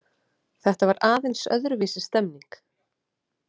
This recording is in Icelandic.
Þetta var aðeins öðruvísi stemming.